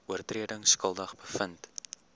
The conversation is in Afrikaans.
oortredings skuldig bevind